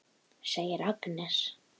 segir Agnes.